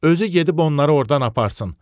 özü gedib onları ordan aparsın.